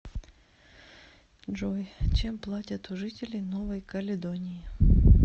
джой чем платят у жителей новой каледонии